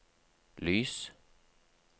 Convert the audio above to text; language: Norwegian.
lys